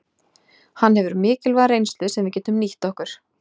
Hann hefur mikilvæga reynslu sem við getum nýtt okkur.